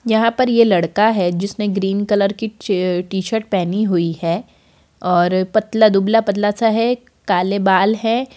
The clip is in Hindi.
यहाँ पर यह लड़का है जिसने ग्रीन कलर की च अ टी-शर्ट पहनी हुई है और पतला दुबला पतला सा है काले बाल है।